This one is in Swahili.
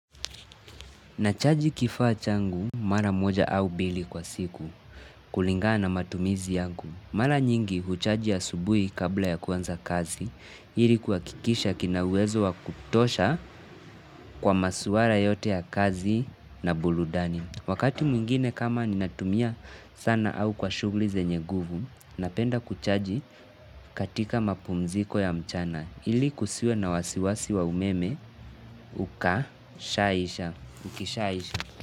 Nachaji kifaa changu mara moja au mbili kwa siku kulingana na matumizi yangu. Mara nyingi huchaji ya asubuhi kabla ya kuanza kazi, ili kuhakikisha kina uwezo wa kutosha kwa maswala yote ya kazi na burudani. Wakati mwingine kama ninatumia sana au kwa shughuli zenye nguvu, napenda kuchaji katika mapumziko ya mchana, ili kusiwe na wasiwasi wa umeme, ukashaisha, ukishaisha.